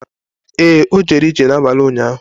Ee, o jere ije n’abalị ụnyahụ.